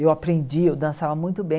Eu aprendi, eu dançava muito bem.